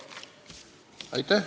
Palun!